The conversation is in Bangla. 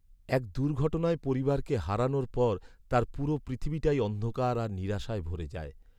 এক দুর্ঘটনায় পরিবারকে হারানোর পর তার পুরো পৃথিবীটাই অন্ধকার আর নিরাশায় ভরে যায়।